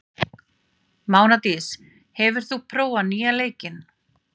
Mánadís, hefur þú prófað nýja leikinn?